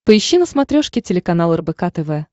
поищи на смотрешке телеканал рбк тв